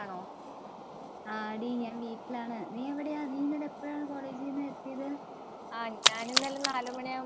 ആടി ഞാൻ വീട്ടിലാണ്. നീ എവിടായ? നീ ഇന്നലെ എപ്പഴാ കോളേജിൽനിന്ന് എത്തിയത്.